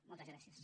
moltes gràcies